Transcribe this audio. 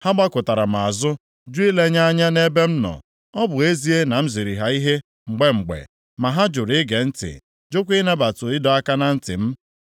Ha gbakụtara m azụ, jụ ilenye anya nʼebe m nọ. Ọ bụ ezie na m ziri ha ihe mgbe mgbe, ma ha jụrụ ige ntị, jụkwa ịnabata ịdọ aka na ntị m.